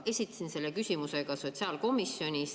Esitasin selle küsimuse ka sotsiaalkomisjonis.